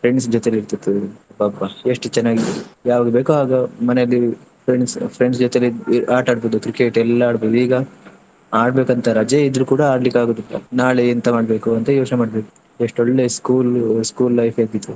Friends ಜೊತೆಯಲ್ಲಿ ಇರ್ತಿದ್ರು ಪಾಪ ಎಷ್ಟು ಚೆನ್ನಾಗಿ ಯಾವಾಗ ಬೇಕು ಅವಾಗ ಮನೇಲಿ friends friends ಜೊತೆಲ್ಲಿ ಆಟಾಡ್ಬೋದು Cricket ಎಲ್ಲಾ. ಆದ್ರೆ ಈಗ ಆಟಾಡ್ಬೇಕ್ ಅಂತ ರಜೆ ಇದ್ರು ಕೂಡ ಆಡ್ಲಿಕ್ಕೆ ಆಗುದಿಲ್ಲ, ನಾಳೆ ಎಂತ ಮಾಡ್ಬೇಕು ಅಂತ ಯೋಚ್ನೆ ಮಾಡ್ಬೇಕು ಎಷ್ಟ್ ಒಳ್ಳೆ school school life ಇರ್ತಿತ್ತು.